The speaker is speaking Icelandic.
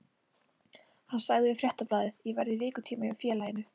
Hann sagði við Fréttablaðið: Ég verð í vikutíma hjá félaginu.